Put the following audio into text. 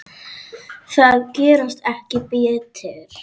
Þær gerast ekki betri.